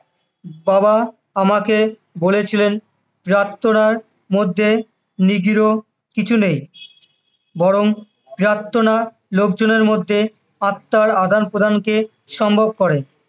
বাবা আমাকে বলেছিলেন প্রার্থনার মধ্যে নিগূঢ কিছু নেই, বরং প্রার্থনা লোকজনের মধ্যে আত্মার আদানপ্রদানকে সম্ভব করে।